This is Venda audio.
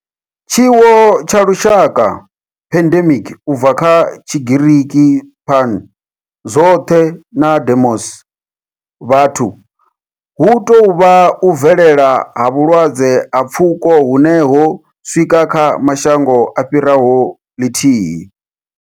Tshiwo tsha lushaka, pandemic, u bva kha Tshigiriki pan, zwothe na demos, vhathu, hu tou vha u bvelela ha vhulwadze ha pfuko hune ho swika kha mashango a fhiraho lithihi.